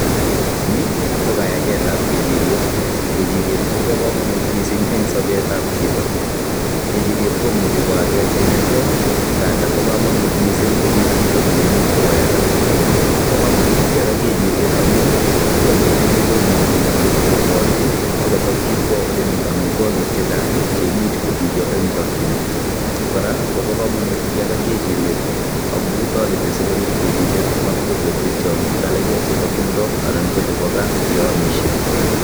Ni ko kayagetab kejiriet. Kejiriet kobo komonut missing eng' sobetab chito. Kejiriet komuchi ko aget inegey, nga nda bo komonut missing kobit chito neimuch koyaga. Bo komonut kiyaga kejiriet amu chito neiyogi komuchi koborchi akotokchi kwoo ole mii amitwogik chechang' che imuch kobiyo eng' chakchinet. Kora kobo komonut kiyaga kejiriet, amu toreti sikorip kejiriet matkobwochi tiongik alake chebo timdo anan ko chebo gaa ye amishie.